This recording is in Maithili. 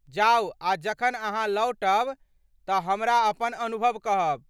जाउ आ जखन अहाँ लौटब तऽ हमरा अपन अनुभव कहब।